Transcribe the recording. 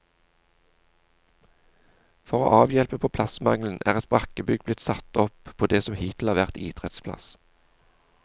For å avhjelpe på plassmangelen er et brakkebygg blitt satt opp på det som hittil har vært idrettsplass.